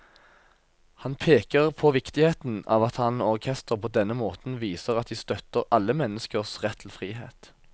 Han peker på viktigheten av at han og orkesteret på denne måten viser at de støtter alle menneskers rett til frihet.